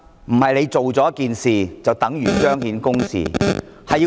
不是做了一件事，便等於彰顯公義......